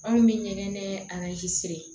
Anw bɛ ɲɛgɛn nɛ